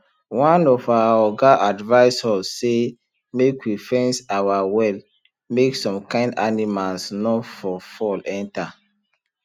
one of our oga advice us say make we fence our well make some kind animals nor for fall enter